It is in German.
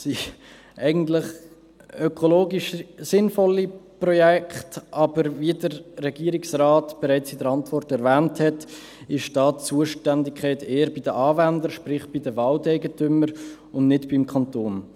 Das sind eigentlich ökologisch sinnvolle Projekte, aber wie der Regierungsrat in seiner Antwort bereits erwähnt hat, liegt die Zuständigkeit eher bei den Anwendern, sprich bei den Waldeigentümern, und nicht beim Kanton.